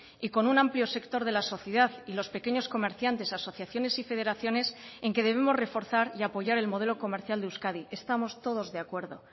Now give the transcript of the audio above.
y con un amplio sector de la sociedad y los pequeños comerciantes asociaciones y federaciones en que debemos reforzar y apoyar el modelo comercial de euskadi estamos todos de acuerdo